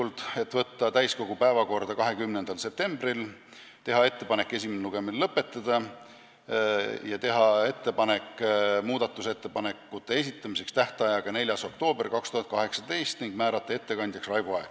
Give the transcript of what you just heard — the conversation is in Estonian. Need olid: võtta eelnõu täiskogu päevakorda 20. septembriks, teha ettepanek esimene lugemine lõpetada ja määrata muudatusettepanekute esitamise tähtajaks 4. oktoober 2018 ning ettekandjaks Raivo Aeg.